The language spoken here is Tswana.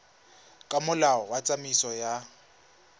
ka molao wa tsamaiso ya